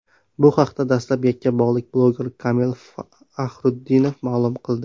Bu haqda dastlab yakkabog‘lik bloger Kamil Faxrutdinov ma’lum qildi .